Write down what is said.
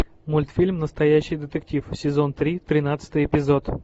мультфильм настоящий детектив сезон три тринадцатый эпизод